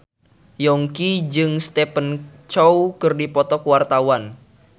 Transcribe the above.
Yongki jeung Stephen Chow keur dipoto ku wartawan